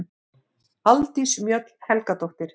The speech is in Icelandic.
Aldís Mjöll Helgadóttir